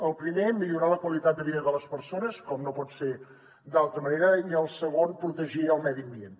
el primer millorar la qualitat de vida de les persones com no pot ser d’altra manera i el segon protegir el medi ambient